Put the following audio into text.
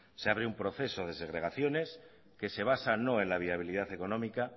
se abre un proceso de segregaciones que se basa no en la viabilidad económica